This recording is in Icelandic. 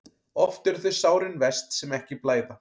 Oft eru þau sárin verst sem ekki blæða.